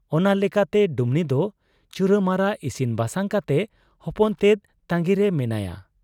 ᱚᱱᱟ ᱞᱮᱠᱟᱛᱮ ᱰᱩᱢᱱᱤᱫᱚ ᱪᱩᱨᱟᱹᱢᱟᱨᱟ ᱤᱥᱤᱱ ᱵᱟᱥᱟᱝ ᱠᱟᱛᱮ ᱦᱚᱯᱚᱱᱛᱮᱫ ᱛᱟᱺᱜᱤᱨᱮ ᱢᱮᱱᱟᱭᱟ ᱾